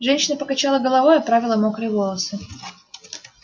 женщина покачала головой оправила мокрые волосы